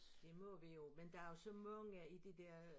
Det må vi jo men der jo så mange i det der øh